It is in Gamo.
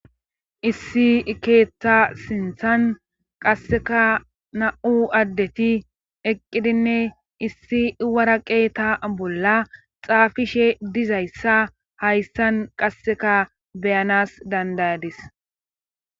Issi keetha sinthan qasseka na'u addeti eqqidinne issi wara qeeta bolla xaafishe dizayssa hayssan qasseka beyanas dandayadis